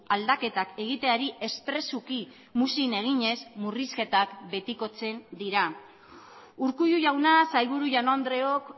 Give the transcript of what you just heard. aldaketak egiteari espresuki muzin eginez murrizketak betikotzen dira urkullu jauna sailburu jaun andreok